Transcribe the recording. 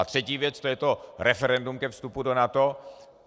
A třetí věc, to je to referendum ke vstupu do NATO.